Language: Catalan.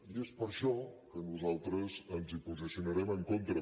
i és per això que nosaltres ens hi posicionarem en contra